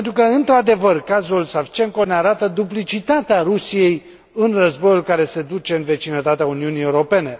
Într adevăr, cazul Savchenko ne arată duplicitatea Rusiei în războiul care se duce în vecinătatea Uniunii Europene.